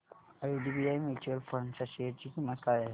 IDBI mutual fund च्या share ची किंमत काय आहे